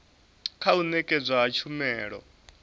kha u nekedzwa ha tshumelo